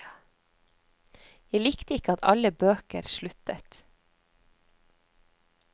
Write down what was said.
Jeg likte ikke at alle bøker sluttet.